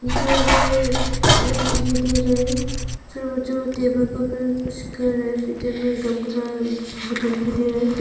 Swimming pool एक आदमी दिखाई दे रहा है फिर ओ जो टेबल के ऊपर कुछ कर रहा है फिर दिखाई दे रहा है।